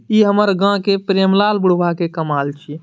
इ हमर गाम के प्रेम लाल बुढ़वा के कमाल छै।